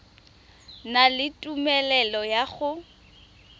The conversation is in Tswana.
na le tumelelo ya go